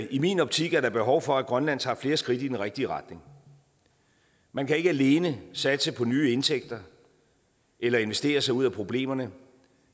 i min optik er der behov for at grønland tager flere skridt i den rigtige retning man kan ikke alene satse på nye indtægter eller investere sig ud af problemerne